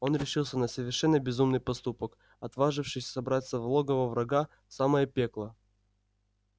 он решился на совершенно безумный поступок отважившись забраться в логово врага в самое пекло